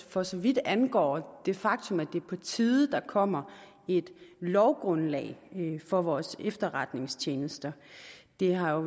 for så vidt angår det faktum at det er på tide at der kommer et lovgrundlag for vores efterretningstjenester det har jo